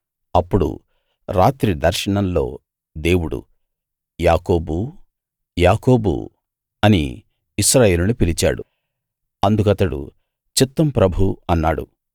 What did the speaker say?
అప్పుడు రాత్రి దర్శనంలో దేవుడు యాకోబూ యాకోబూ అని ఇశ్రాయేలును పిలిచాడు అందుకతడు చిత్తం ప్రభూ అన్నాడు